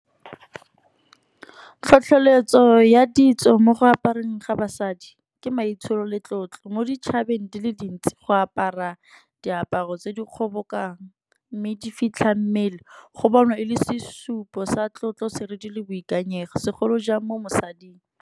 Tlhotlheletso ya ditso mo go aparang ga basadi, ke maitsholo le tlotlo mo ditšhabeng di le dintsi. Go apara diaparo tse di kgobokang, mme di fitlha mmele go bonwa e le sesupo sa tlotlo serithi le boikanyego, segolo jang mo mosading.